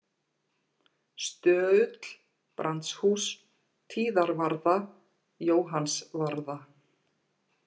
Stöull, Brandshús, Tíðarvarða, Jóhannsvarða